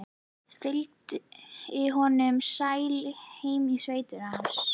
Fylgdi honum sæl heim í sveitina hans.